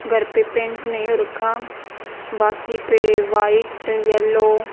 घर पे पेंट नहीं हो रखा बाकी पे वाइट येलो --